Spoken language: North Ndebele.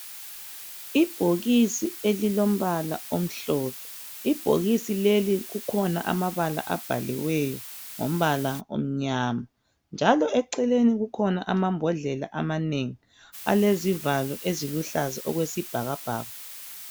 Ibhokisi elilombala omhlophe ibhokisi leli kukhona ababala abaliweyo ngombala onyama njalo eceleni kukhona amambhodlela amanengi alezivalo eziluhlaza okwesibhakabhaka